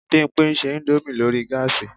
Bímpé ń ṣe indomie lórí gáàsì